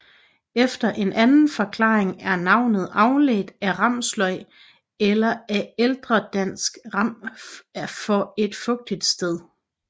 Efter en anden forklaring er navnet afledt af ramsløg eller af ældredansk ram for et fugtigt sted